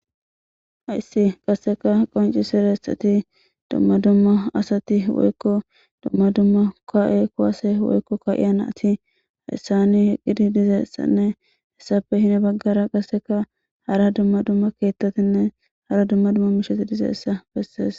Hayssi qasseka qoncisirexeti dumma dumma asati woykko dumma dumma ka7e kuwase woykko ka7iyana ati hayssani eqqidi dizeessanne hessape hini baggara qasseka hara dumma dumma keettatinne hara dumma dumma misheti dizeessa bessees